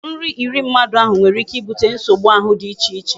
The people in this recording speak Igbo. Nri iri mmadụ ahụ nwere ike ibute nsogbu ahụ dị icheche